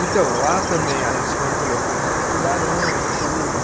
Então, lá também a gente mergulhou com os tubarões, tudo.